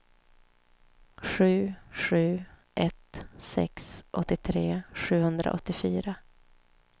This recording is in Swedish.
sju sju ett sex åttiotre sjuhundraåttiofyra